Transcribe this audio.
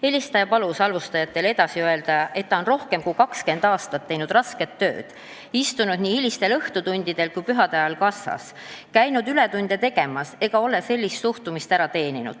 Helistaja palus halvustajatele edasi öelda, et ta on rohkem kui 20 aastat teinud rasket tööd, istunud nii hilistel õhtutundidel kui ka pühade ajal kassas, käinud ületunde tegemas ega ole sellist suhtumist ära teeninud.